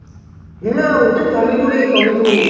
হ্যাঁ না ওটা টমেটো রে টমেটো